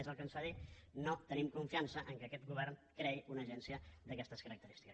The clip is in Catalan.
és el que ens fa dir que no tenim confiança que aquest govern creï una agència d’aquestes característiques